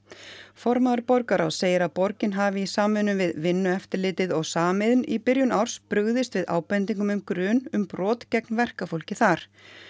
formaður borgarráðs segir að borgin hafi í samvinnu við Vinnueftirlitið og Samiðn í byrjun árs brugðist við ábendingum um grun um brot gegn verkafólki þar